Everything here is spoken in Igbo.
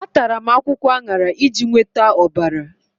Atara m akwụkwọ aṅara iji nweta ọbara.